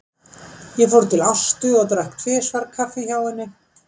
Þá fór ég til Ástu og drakk tvisvar kaffi hjá henni.